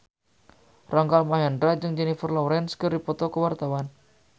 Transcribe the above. Rangga Almahendra jeung Jennifer Lawrence keur dipoto ku wartawan